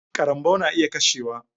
Karambaw na iya kashewa.